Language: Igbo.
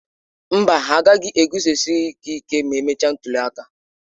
Mba, ha agaghị e guzosịrị gị ịke ma emechaa ntuli aka.